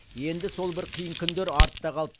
енді сол бір қиын күндер артта қалды